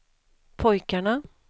pojkarna